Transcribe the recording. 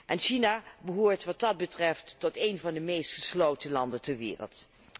En China behoort, wat dat betreft, tot een van de meest gesloten landen ter wereld.